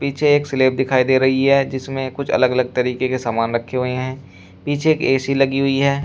मुझे एक स्लैब दिखाई दे रही है जिसमें कुछ अलग अलग तरीके के सामान रखे हुए हैं पीछे एक ऐ_सी लगी हुई है।